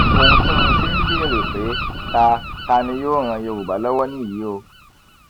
ohun tí mo ṣe ń béèrè pé ta ta ni yóò ran yorùbá lọwọ nìyí o